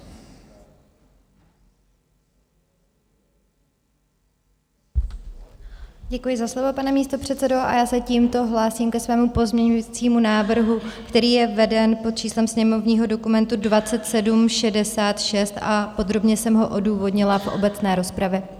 Děkuji za slovo, pane místopředsedo, a já se tímto hlásím ke svému pozměňovacímu návrhu, který je veden pod číslem sněmovního dokumentu 2766, a podrobně jsem ho odůvodnila v obecné rozpravě.